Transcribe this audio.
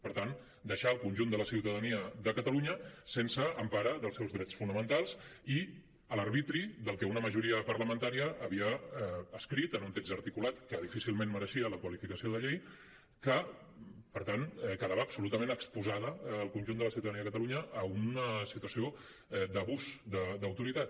per tant deixar el conjunt de la ciutadania de catalunya sense empara dels seus drets fonamentals i a l’arbitri del que una majoria parlamentària havia escrit en un text articulat que difícilment mereixia la qualificació de llei que per tant quedava absolutament exposada el conjunt de la ciutadania de catalunya a una situació d’abús d’autoritat